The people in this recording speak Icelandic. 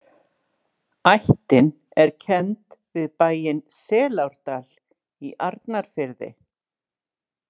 Ættin er kennd við bæinn Selárdal í Arnarfirði.